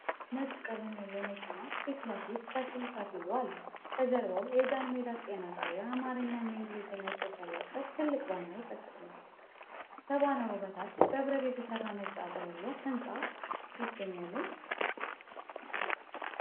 ነጭ ቀለም ያለው መኪና ፊት ለፊት ከፊል-ከፊሉ አሉ። ከጀርባው የጃንሜዳ ጤና ጣቢያ የአማርኛና የእንግሊዝኛ ፅሁፍ ያለበት ትልቅ ባነር ተሰቅሏል። ከባነሩ በታች በብረት የተሠራ ነጭ አጥር ያለው ሕንጻ ይገኛልን?